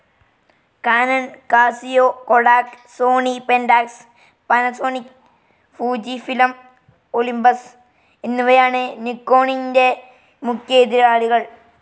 Canon, Casio, Kodak, Sony, Pentax, Panasonic, Fujifilm, Olympus എന്നിവയാണ് നിക്കോണിൻറെ മുഖ്യ എതിരാളികൾ.